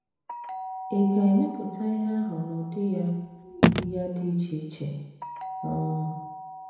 Ị̀ ga - emepụta ihe ahụ n’ụdị ya ya dị iche iche um?